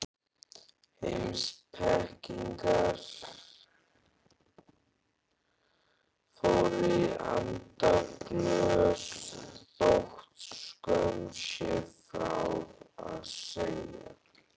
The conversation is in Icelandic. Heimspekingar fóru í andaglös þótt skömm sé frá að segja.